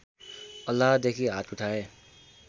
अल्लाहदेखि हात उठाए